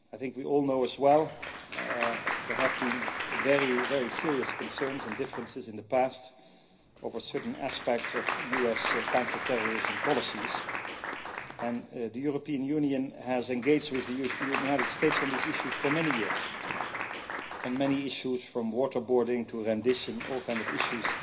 We all know as well that there have been very serious concerns and differences in the past over certain aspects of US counterterrorism policies, and the European Union has engaged with the United States on these issues for many years on many issues, from waterboarding to rendition, all kinds of issues